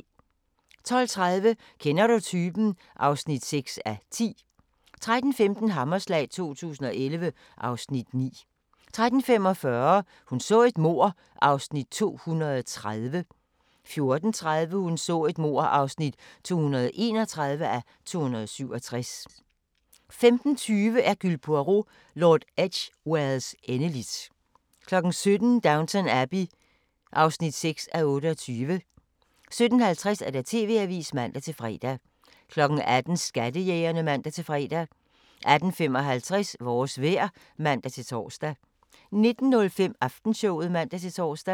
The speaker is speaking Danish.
12:30: Kender du typen? (6:10) 13:15: Hammerslag 2011 (Afs. 9) 13:45: Hun så et mord (230:267) 14:30: Hun så et mord (231:267) 15:20: Hercule Poirot: Lord Edgwares endeligt 17:00: Downton Abbey (6:28) 17:50: TV-avisen (man-fre) 18:00: Skattejægerne (man-fre) 18:55: Vores vejr (man-tor) 19:05: Aftenshowet (man-tor)